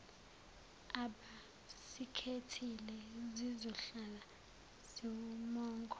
abasikhethile zizohlala ziwumongo